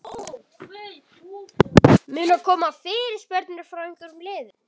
Munu koma fyrirspurnir frá einhverjum liðum?